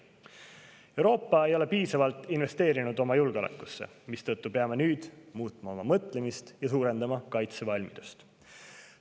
Euroopa ei ole oma julgeolekusse piisavalt investeerinud, mistõttu peame nüüd muutma oma mõtlemist ja suurendama kaitsevalmidust.